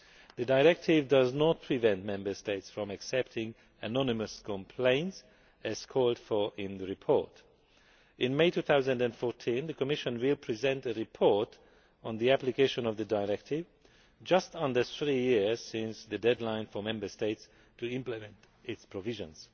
The Directive does not prevent Member States from accepting anonymous complaints, as called for in the report. In May 2014, the Commission will present a report on the application of the Directive, just under three years since the deadline for Member States to implement its provisions.